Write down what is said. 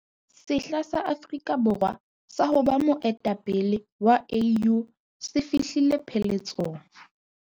Sehla sa Afrika Bo rwa sa ho ba moe tapele wa AU se fi hlile pheletsong.